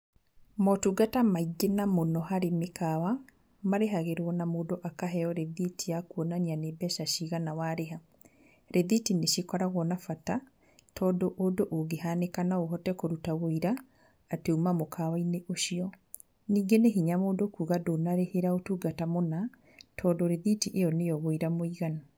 Motungata maingĩ na mũno harĩ mĩkawa, marĩhagĩrwo na mũndũ akaheyo rĩthiti ya kuonania nĩ mbeca cigana warĩha. Rĩthiti nĩcikoragwo na bata, tondũ ũndũ ũngĩhanĩka noũhote kũruta wĩira atĩ uma mũkawa-inĩ ũcio, ningĩ nĩ hinya mũndũ kuuga atĩ ndũnarĩhĩra ũtungata mũna tondũ rĩthiti ĩyo nĩ yo wũira mũiganu.